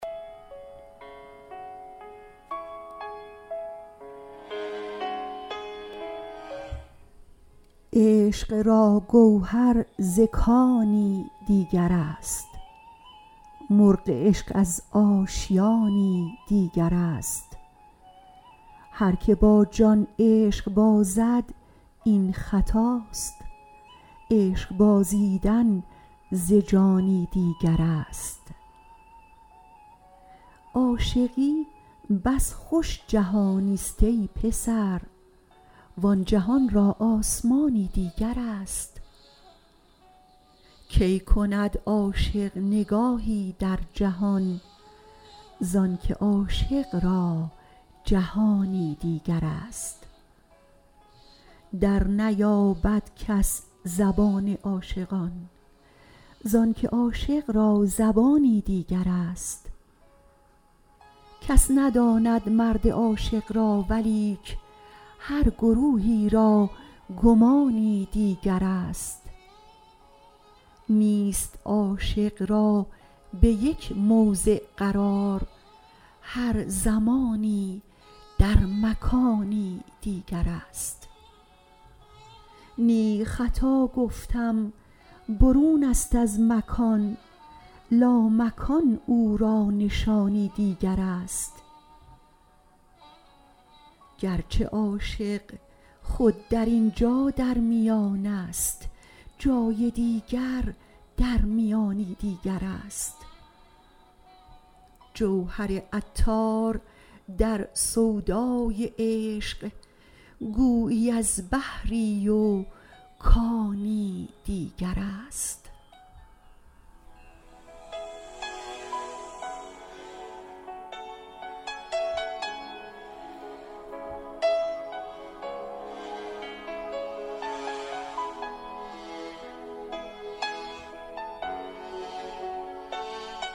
عشق را گوهر ز کانی دیگر است مرغ عشق از آشیانی دیگر است هرکه با جان عشق بازد این خطاست عشق بازیدن ز جانی دیگر است عاشقی بس خوش جهان است ای پسر وان جهان را آسمانی دیگر است کی کند عاشق نگاهی در جهان زانکه عاشق را جهانی دیگر است در نیابد کس زبان عاشقان زانکه عاشق را زبانی دیگر است کس نداند مرد عاشق را ولیک هر گروهی را گمانی دیگر است نیست عاشق را به یک موضع قرار هر زمانی در مکانی دیگر است نی خطا گفتم برون است از مکان لامکان او را نشانی دیگر است گرچه عاشق خود در اینجا در میانست جای دیگر در میانی دیگر است جوهر عطار در سودای عشق گویی از بحری و کانی دیگر است